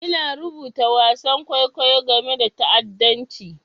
Ina rubuta wasan kwaikwayo game da ta'addanci.